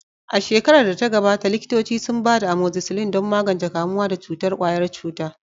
A shekarar da ta gabata, likitoci sun ba da amoxicillin don magance kamuwa da cutar ƙwayar cuta.